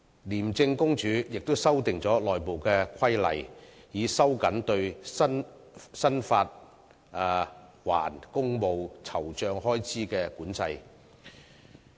廉政公署亦已修訂內部規例，以收緊對申請發還公務酬酢開支的管制。